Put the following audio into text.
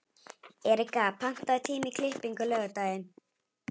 Erika, pantaðu tíma í klippingu á laugardaginn.